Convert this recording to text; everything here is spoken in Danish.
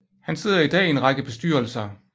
Han sidder i dag i en række bestyrelser